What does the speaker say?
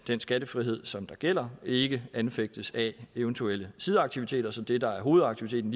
den skattefrihed som gælder ikke anfægtes af eventuelle sideaktiviteter så det der er hovedaktiviteten